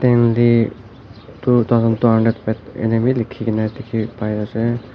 Stanley two thousand two hundred ena bhi lekhikena dekhey pai ase.